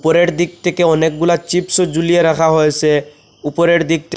উপরের দিক থেকে অনেকগুলা চিপসও ঝুলিয়ে রাখা হয়েছে উপরের দিক থে--